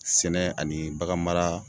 Sɛnɛ ani baganmara